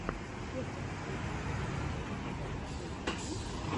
чеховские проходимцы у тебя в запасе есть